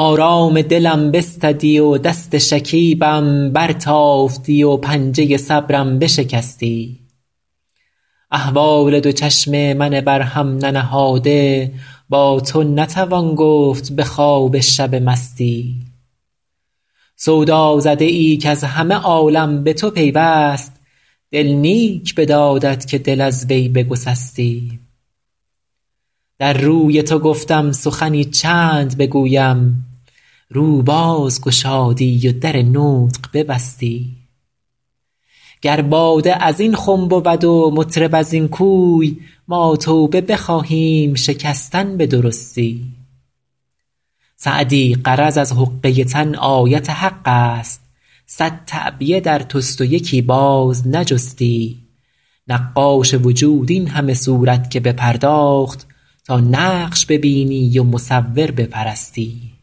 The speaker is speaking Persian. آرام دلم بستدی و دست شکیبم برتافتی و پنجه صبرم بشکستی احوال دو چشم من بر هم ننهاده با تو نتوان گفت به خواب شب مستی سودازده ای کز همه عالم به تو پیوست دل نیک بدادت که دل از وی بگسستی در روی تو گفتم سخنی چند بگویم رو باز گشادی و در نطق ببستی گر باده از این خم بود و مطرب از این کوی ما توبه بخواهیم شکستن به درستی سعدی غرض از حقه تن آیت حق است صد تعبیه در توست و یکی باز نجستی نقاش وجود این همه صورت که بپرداخت تا نقش ببینی و مصور بپرستی